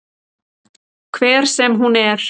Hver sem hún er.